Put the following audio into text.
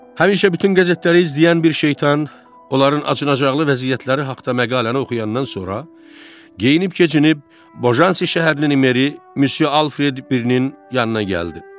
Həmişə bütün qəzetləri izləyən bir şeytan onların acınacaqlı vəziyyətləri haqda məqaləni oxuyandan sonra geyinib-keçinib Bojansi şəhərli Meri Mösyö Alfred birinin yanına gəldi.